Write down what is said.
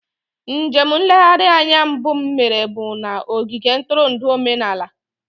Njem nlereanya mbụ m mere bụ na ogige ntụrụndụ omenala.